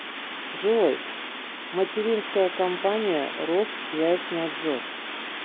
джой материнская компания россвязьнадзор